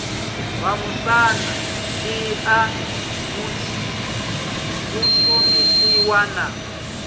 vhamusanda ḽi a shumisiwa na